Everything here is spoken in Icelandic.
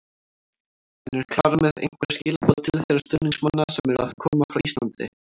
En er Klara með einhver skilaboð til þeirra stuðningsmanna sem eru að koma frá Íslandi?